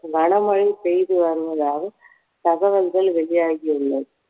கன மழை பெய்து வருவதாக தகவல்கள் வெளியாகி உள்ளது